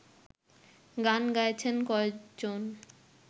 গান গাইছেন কয়েকজন